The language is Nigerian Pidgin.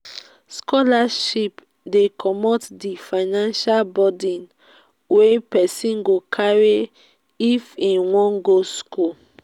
scholarship dey comot di financial buden wey person go carry if im wan go school